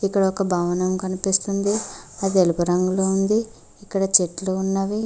ఇక్కడ ఒక భవనం కనిపిస్తుంది అది ఎలుగు రంగులో ఉంది ఇక్కడ చెట్లు ఉన్నవి.